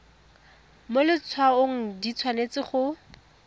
mo letshwaong di tshwanetse go